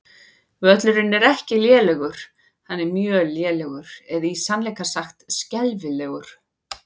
Völlurinn er ekki lélegur, hann er mjög lélegur eða í sannleika sagt skelfilegur.